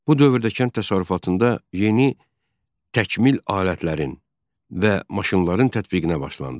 Bu dövrdə kənd təsərrüfatında yeni təkmil alətlərin və maşınların tətbiqinə başlandı.